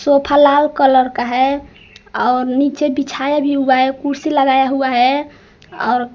sofa लाल colour का है और नीचे बिछाया भी हुआ है कुर्सी लगाया हुआ है और--